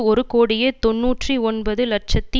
ஒரு கோடியே தொன்னூற்றி ஒன்பது இலட்சத்தி